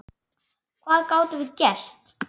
Hvað gátum við gert?